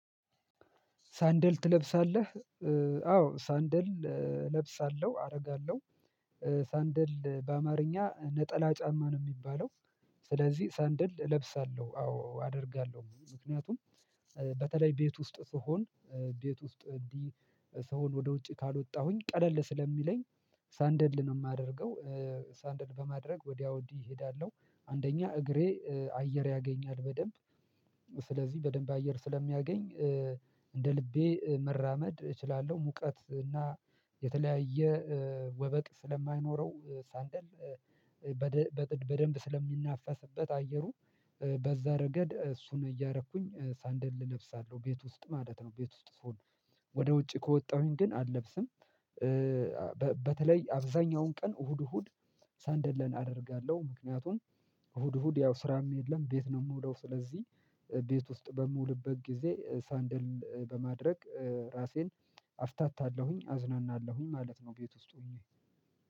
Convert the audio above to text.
ሳንደል ትለብሳለህ? አዎ ሳንደል እለብሳለሁ አረጋለሁ ሳንደል በአማርኛ ነጠላ ጫማ ነው ሚባለው ስለዚህ ሳንደል እለብሳለሁ አዎ አደርጋለሁ ምክንያቱም በተለይ ቤት ውስጥ ስሆን ቤት ውስጥ እንዲህ ስሆን ወደ ውጭ ካልወጣሁኝ ቀለል ስለሚለኝ ሳንደል ነው የማደርገው ሳንደል በማድረግ ወዲያ ወዲህ እሄዳለሁ አንደኛ እግሬ አየር ያገኛል በደንብ ስለዚህ በደንብ አየር ስለሚያገኝ እንደ ልቤ መራመድ እችላለሁ ሙቀት እና የተለያየ ወበቅ ስለማይኖረው ሳንደል በደንብ ስለሚናፈስበት አየሩ በዛ ረገድ እሱን እያረኩኝ ሳንደል እለብሳለው ቤት ውስጥ ማለት ነው ቤት ውስጥ ስሆን ወደ ውጪ ከወጣሁኝ ግን አለብስም በተለይ አብዛኛውን ቀን እሁድ እሁድ ሳንደለን አደርጋለሁ ምክንያቱም እሁድ እሁድ ያው ስራም የለም ቤት ነው ምውለው ስለዚህ ቤት ውስጥ በምውልበት ጊዜ ሳንድል በማድረግ ራሴን አፍታታለሁኝ አዝናናለሁኝ ማለት ነው ቤት ውስጥ ሆኜ